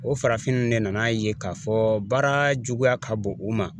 O farafin ninnu de nana a ye k'a fɔ baara juguya ka bon u ma